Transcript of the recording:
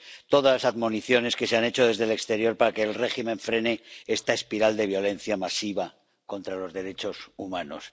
todas las admoniciones que se han hecho desde el exterior para que el régimen frene esta espiral de violencia masiva contra los derechos humanos.